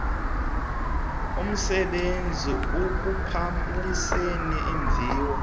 omsebenzi ukubhalisela iimviwo